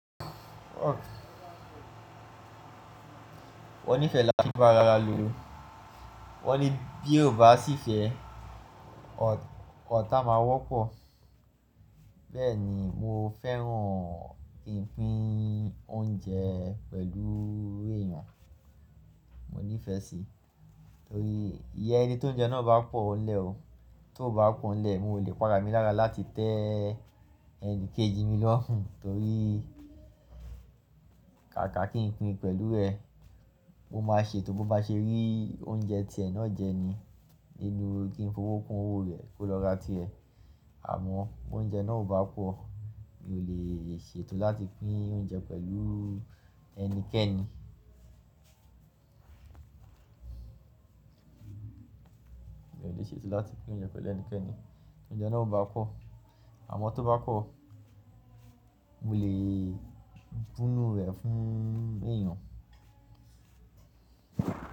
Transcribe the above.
Wọ́n nífẹ̀ẹ́ lá fi ń bá ara wa lo, wọ́n ní bí ò bá sì fẹ́ ọ̀tá máa wọ́pọ̀. Bẹ́ẹ̀ ni mo fẹ́ràn ìpín oúnjẹ pẹ̀lú èèyàn, mo nífẹ̀ẹ́ síi. Torí ìyẹn ni tó oúnjẹ náà bá pọ̀ n lẹ́ o, tó bá pọ̀n n lẹ́, mo lè padà mí lára láti tẹ́ ẹni kejì mi lọ́rùn. Torí kàkà kí n pín pẹ̀lú ẹ, ó máa ṣe ètò bó bá ṣe rí oúnjẹ tí ẹ náà jẹ ni nínú kí n fi owó kún owó rẹ̀ kó lọ́ra tí ẹ. Àmọ́ oúnjẹ náà ò bá pọ̀, mi ò lè ṣe ètò láti pín oúnjẹ pẹ̀lú ẹnikẹ́ni. Mi ò lè ṣètò láti pín oúnjẹ pẹ̀lú ẹnikẹ́ni. Oúnjẹ náà ò bá pọ̀, àmọ́ tó bá pọ̀, mo lè bu n nú rẹ̀ fún èèyàn.